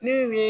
Min mi